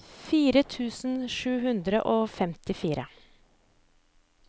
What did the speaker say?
fire tusen sju hundre og femtifire